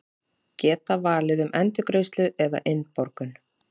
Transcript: Geta valið um endurgreiðslu eða innborgun